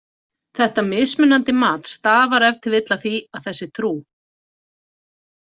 Þetta mismunandi mat stafar ef til vill af því að þessi trú.